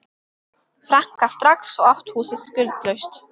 franka strax og átt húsið skuldlaust.